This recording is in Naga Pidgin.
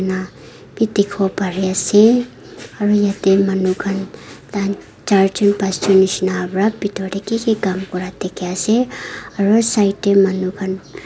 na bi dikhiwo pariase aru yatae manu khan tahan charjun pasjun nishina pa bitor tae kiki Kam kura dikhae ase aru side tae manu khan.